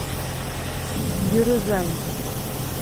юрюзань